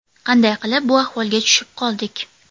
Qanday qilib bu ahvolga tushib qoldik?